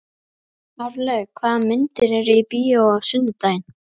Árlaug, hvaða myndir eru í bíó á sunnudaginn?